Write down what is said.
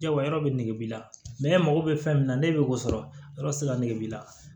Yala yɔrɔ yɔrɔ bɛ nege b'i la mɛ ne mago bɛ fɛn min na ne bɛ o sɔrɔ yɔrɔ tɛ se ka nege b'i la